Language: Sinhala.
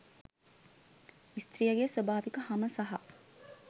ස්ත්‍රියගේ ස්වාභාවික හම සහ